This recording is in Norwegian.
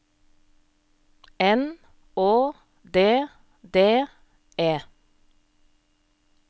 N Å D D E